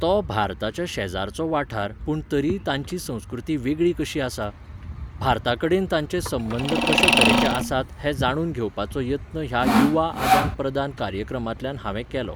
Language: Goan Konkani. तो भारताच्या शेजारचो वाठार पूण तरीय तांची संस्कृती वेगळी कशी आसा? भारता कडेन तांचे सबंद कशें तरेचे आसात हें जाणून घेवपाचो यत्न ह्या युवा आदान प्रदान कार्यक्रमांतल्यान हांवें केलो.